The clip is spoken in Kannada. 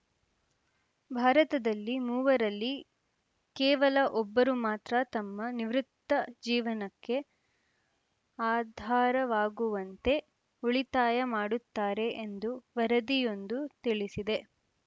ಭಾರತದಲ್ಲಿ ಮೂವರಲ್ಲಿ ಕೇವಲ ಒಬ್ಬರು ಮಾತ್ರ ತಮ್ಮ ನಿವೃತ್ತ ಜೀವನಕ್ಕೆ ಆಧಾರವಾಗುವಂತೆ ಉಳಿತಾಯ ಮಾಡುತ್ತಾರೆ ಎಂದು ವರದಿಯೊಂದು ತಿಳಿಸಿದೆ